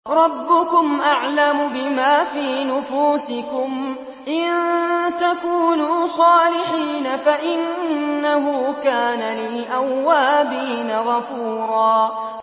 رَّبُّكُمْ أَعْلَمُ بِمَا فِي نُفُوسِكُمْ ۚ إِن تَكُونُوا صَالِحِينَ فَإِنَّهُ كَانَ لِلْأَوَّابِينَ غَفُورًا